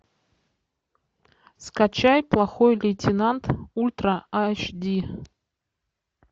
скачай плохой лейтенант ультра аш ди